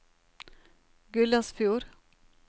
Gullesfjord